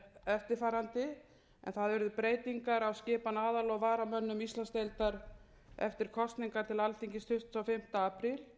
eftirfarandi að það urðu breytingar á skipan aðal og varamanna íslandsdeildar eftir kosningar til alþingis tuttugasta og fimmta apríl